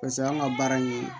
Paseke anw ka baara in